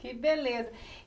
Que beleza.